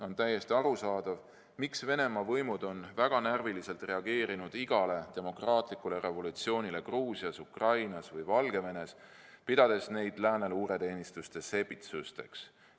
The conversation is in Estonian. On täiesti arusaadav, miks Venemaa võimud on väga närviliselt reageerinud igale demokraatlikule revolutsioonile Gruusias, Ukrainas või Valgevenes, pidades neid lääne luureteenistuste sepitsusteks.